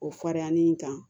O farinya ni kan